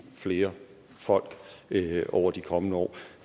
flere folk over de kommende år